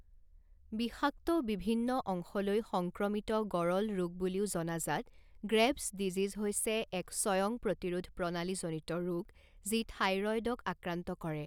বিষাক্ত বিভিন্ন অংশলৈ সংক্ৰমিত গঁৰল ৰোগ বুলিও জনাজাত গ্ৰেভ্ছ ডিজিজ হৈছে এক স্বয়ংপ্ৰতিৰোধ প্ৰণালীজনিত ৰোগ যি থাইৰয়ডক আক্ৰান্ত কৰে।